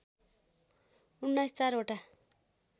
१९ चार वटा